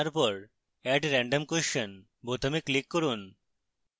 তারপর add random question বোতামে click করুন